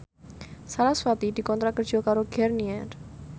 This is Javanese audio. sarasvati dikontrak kerja karo Garnier